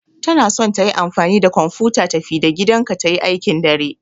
Tana son tayi amfani da kwamfuta tafi-da-gidanka ta yi aikin dare.